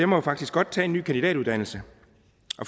må jo faktisk godt tage en ny kandidatuddannelse